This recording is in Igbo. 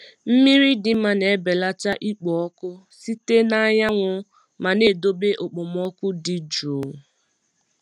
Mmiri dị mma na-ebelata ikpo ọkụ site na anyanwụ ma na-edobe okpomọkụ dị jụụ.